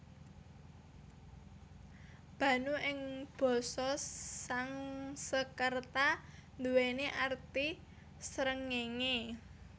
Bhanu ing basa Sangskerta anduwèni arti srengéngé